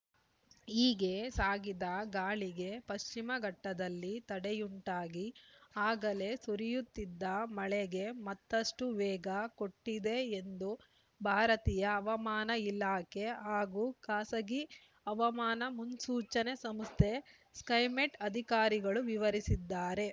ಹೀಗೆ ಸಾಗಿದ ಗಾಳಿಗೆ ಪಶ್ಚಿಮಘಟ್ಟದಲ್ಲಿ ತಡೆಯುಂಟಾಗಿ ಆಗಲೇ ಸುರಿಯುತ್ತಿದ್ದ ಮಳೆಗೆ ಮತ್ತಷ್ಟುವೇಗ ಕೊಟ್ಟಿದೆ ಎಂದು ಭಾರತೀಯ ಹವಮಾನ ಇಲಾಖೆ ಹಾಗೂ ಖಾಸಗಿ ಹವಾಮಾನ ಮುನ್ಸೂಚನೆ ಸಂಸ್ಥೆ ಸ್ಕೈಮೆಟ್‌ ಅಧಿಕಾರಿಗಳು ವಿವರಿಸಿದ್ದಾರೆ